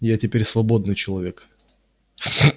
я теперь свободный человек